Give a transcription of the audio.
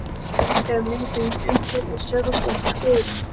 Eða myndi hún umbreytast í sjálfstæðan skörung?